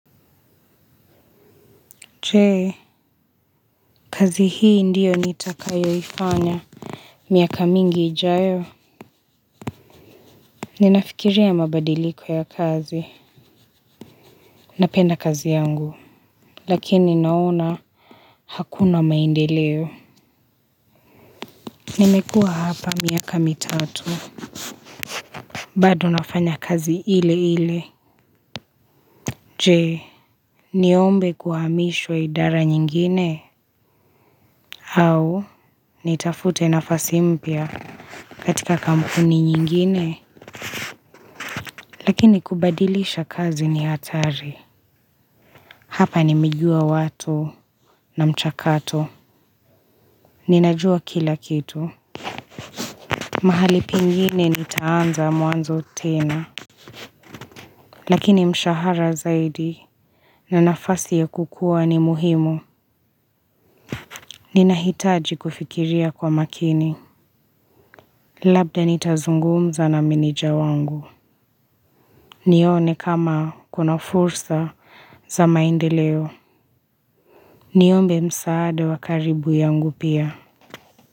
Je, kazi hii ndio nitakayoifanya? Miaka mingi ijayo. Ninafikiria mabadiliko ya kazi. Napenda kazi yangu. Lakini naona hakuna maendeleo. Nimekuwa hapa miaka mitatu. Bado nafanya kazi ile ile. Je, niombe kuhamishwa idara nyingine? Au, nitafute nafasi mpya katika kampuni nyingine? Lakini kubadilisha kazi ni hatari. Hapa nimejua watu na mchakato. Ninajua kila kitu mahali pengine nitaanza mwanzo tena. Lakini mshahara zaidi. Na nafasi ya kukua ni muhimu. Ninahitaji kufikiria kwa makini. Labda nitazungumza na meneja wangu. Nione kama kuna fursa za maendeleo. Niombe msaada wa karibu yangu pia.